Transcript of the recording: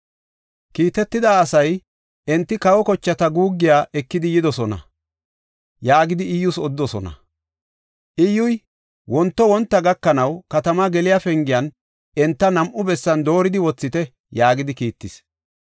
Kiitetida asay, “Enti kawa kochata guuggiya ekidi yidosona” yaagidi Iyyus odidosona. Iyyuy, “Wonto wonta gakanaw, katama geliya pengiyan enta nam7u bessan dooridi wothite” yaagidi kiittis.